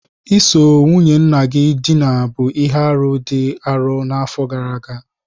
Iso nwunye nna gị dina bụ ihe arụ dị arọ n'afọ gara aga